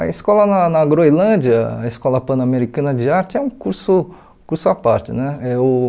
A escola na na na Groenlândia, a Escola Pan-Americana de Arte, é um curso curso à parte. Eh uh